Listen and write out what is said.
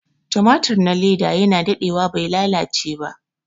tumatur na leda yana dade wa bai lalace ba